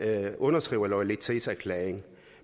underskriver loyalitetserklæringen